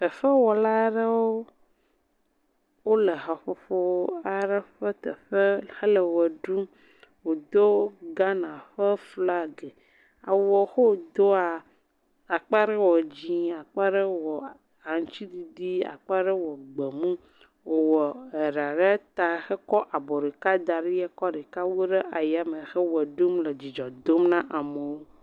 Fefewɔla aɖewo wole haƒoƒo aɖe ƒe teƒe hele ʋe ɖum. Wodo Ghana ƒe flaga. Awu yi ke wodoa, akpa ɖe wɔ dzɛ̃e , akpa aɖe wɔ aŋutiɖiɖi, akpa aɖe wɔ gbemu, wowɔ ɖa ɖe ta hekɔ abɔ ɖeka da ɖi ekɔ ɖeka wu ɖe yame heʋe ɖum le dzidzɔ dom ne amewo.